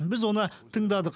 біз оны тыңдадық